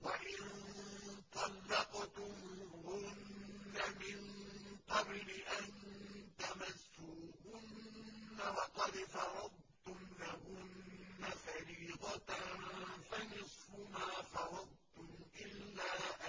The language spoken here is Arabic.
وَإِن طَلَّقْتُمُوهُنَّ مِن قَبْلِ أَن تَمَسُّوهُنَّ وَقَدْ فَرَضْتُمْ لَهُنَّ فَرِيضَةً فَنِصْفُ مَا فَرَضْتُمْ إِلَّا